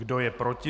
Kdo je proti?